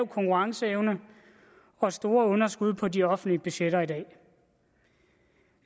konkurrenceevne og store underskud på de offentlige budgetter i dag